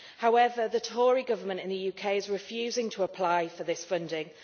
However, the Tory Government in the UK is refusing to apply for this funding.